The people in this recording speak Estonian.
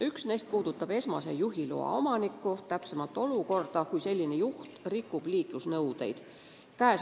Üks neist puudutas esmase juhiloa omanikku, täpsemalt olukorda, kui selline juht rikub liiklusnõudeid.